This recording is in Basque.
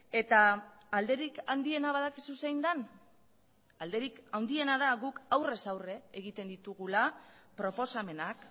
eta alderik handiena badakizu zein den alderik handiena da guk aurrez aurre egiten ditugula proposamenak